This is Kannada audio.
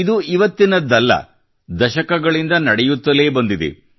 ಇದು ಇವತ್ತಿನದ್ದಲ್ಲ ದಶಕಗಳಿಂದ ನಡೆಯುತ್ತಲೇ ಬಂದಿದೆ